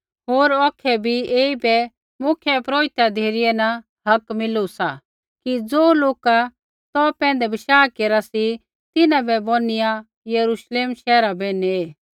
होर औखै बी ऐईबै मुख्यपुरोहिता धिरै न हक मिलू सा कि ज़ो लोक तौ पैंधै बशाह केरा सी तिन्हां बै बौनिया यरूश्लेम शैहरा बै नेऐ